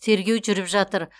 тергеу жүріп жатыр